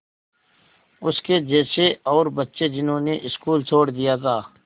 उसके जैसे और बच्चे जिन्होंने स्कूल छोड़ दिया था